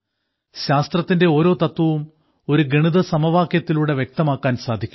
ശാസ്ത്രത്തിന്റെ ഓരോ തത്വവും ഒരു ഗണിത സമവാക്യത്തിലൂടെ വ്യക്തമാക്കാൻ സാധിക്കും